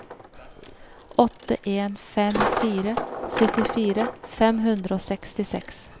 åtte en fem fire syttifire fem hundre og sekstiseks